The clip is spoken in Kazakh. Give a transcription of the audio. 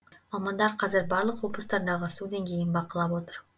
мамандар қазір барлық облыстардағы су деңгейін бақылап отыр